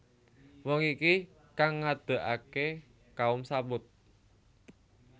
Wong iki kang ngedekake Kaum Tsamud